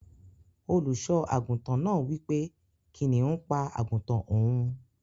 Oluso aguntan naa wipe kiniun pa aguntan oun.